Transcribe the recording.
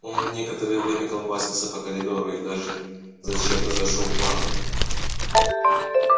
он некоторое время колбасился по коридору и даже зачем-то зашёл в ванную